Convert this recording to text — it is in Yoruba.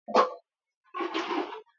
Lọ pe àwọn ọmọdé wá.